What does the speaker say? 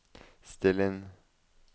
still inn